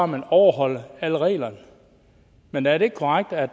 man overholder alle reglerne men er det ikke korrekt at